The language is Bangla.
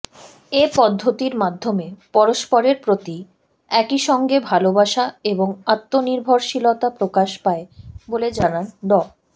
এ পদ্ধতির মাধ্যমে পরস্পরের প্রতি একইসঙ্গে ভালোবাসা এবং আত্মনির্ভরশীলতা প্রকাশ পায় বলে জানান ড